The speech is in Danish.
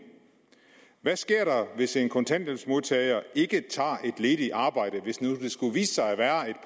hvad sker der hvis en kontanthjælpsmodtager ikke tager et ledigt arbejde hvis nu der skulle vise sig at være